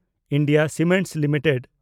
India cement limited